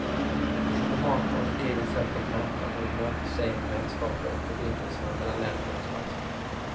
Diplomater har sitt eget sätt att mäta vad ett möte säger om vänskapen och förbindelserna mellan länder och statsmän.